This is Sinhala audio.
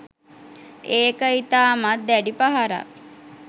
ඒක ඉතාමත් දැඩි පහරක්